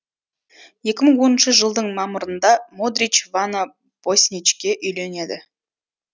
екі мың оныншы жылдың мамырында модрич вана босничке үйленеді